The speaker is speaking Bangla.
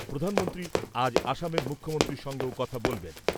প্রধানমন্ত্রী আজ অসমের মুখ্যমন্ত্রীর সঙ্গেও কথা বলবেন।